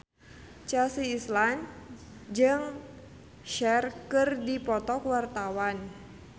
Chelsea Islan jeung Cher keur dipoto ku wartawan